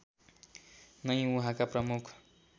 नै उहाँका प्रमुख